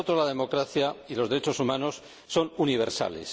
Para nosotros, la democracia y los derechos humanos son universales.